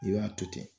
I b'a to ten